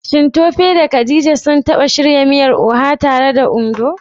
Shin Tope da Khadija sun taba shirya miyar Oha tare a Ondo?